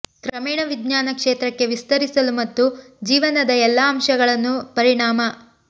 ಕ್ರಮೇಣ ವಿಜ್ಞಾನ ಕ್ಷೇತ್ರಕ್ಕೆ ವಿಸ್ತರಿಸಲು ಮತ್ತು ಜೀವನದ ಎಲ್ಲಾ ಅಂಶಗಳನ್ನು ಪರಿಣಾಮ